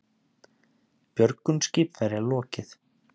Björgun skipverja lokið